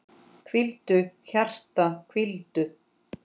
Hvíldu, hjarta, hvíldu.